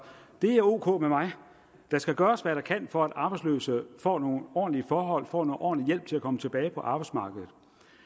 det er ok med mig der skal gøres hvad der kan for at arbejdsløse får nogle ordentlige forhold får noget ordentlig hjælp til at komme tilbage på arbejdsmarkedet